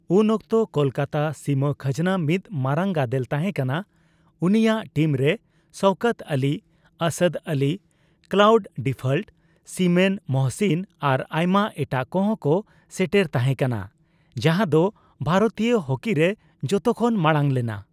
ᱩᱱ ᱚᱠᱛᱚ ᱠᱚᱞᱠᱟᱛᱟ ᱥᱤᱢᱟᱹ ᱠᱷᱟᱡᱱᱟ ᱢᱤᱫ ᱢᱟᱨᱟᱝ ᱜᱟᱫᱮᱞ ᱛᱟᱦᱮᱸ ᱠᱟᱱᱟ; ᱩᱱᱤᱭᱟᱜ ᱴᱤᱢ ᱨᱮ Shaukat Ali, Asad Ali, Claude Default, Simon, Mohsin ᱟᱨ ᱟᱭᱢᱟ ᱮᱴᱟᱜ ᱠᱚᱦᱚᱸ ᱠᱚ ᱥᱮᱴᱮᱨ ᱛᱟᱦᱮ ᱠᱟᱱᱟ ᱡᱟᱦᱟᱸ ᱫᱚ ᱵᱷᱟᱨᱛᱤᱭᱚ ᱦᱟᱠᱤ ᱨᱮ ᱡᱚᱛᱚᱠᱷᱚᱱ ᱵᱟᱲᱟᱝ ᱞᱮᱱᱟ᱾